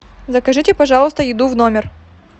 закажите пожалуйста еду в номер